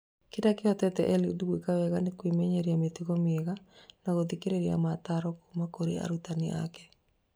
Kĩrĩa kĩhotithĩtie Eliud gwĩka wega nĩ kwĩmenyeria mĩtugo mĩega na gũthikĩrĩria motaaro kuma kũrĩ arutani ake